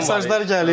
Mesajlar gəlir.